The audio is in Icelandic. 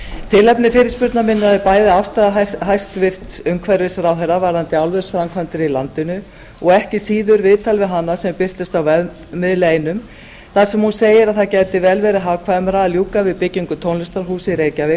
tilefni fyrirspurnar minnar er bæði afstaða hæstvirtur umhverfisráðherra varðandi álversframkvæmdir í landinu og ekki síður viðtal við hana sem birtist á vefmiðli einum þar sem hún segir að það gæti vel verið hagkvæmara að ljúka við byggingu tónlistarhúss í reykjavík